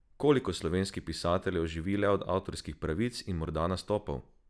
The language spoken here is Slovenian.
Koliko slovenskih pisateljev živi le od avtorskih pravic in morda nastopov?